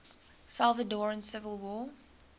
salvadoran civil war